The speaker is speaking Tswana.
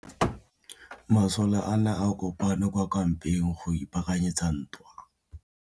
Masole a ne a kopane kwa kampeng go ipaakanyetsa ntwa.